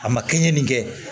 A ma kɛɲɛ nin kɛ